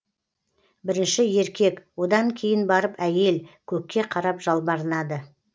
бірінші еркек одан кейін барып әйел көкке қарап жалбарынады